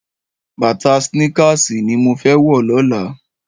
Bàtá snìkásí ni mó fè wò lòlá